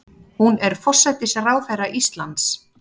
Hún er forsætisráðherra Íslands.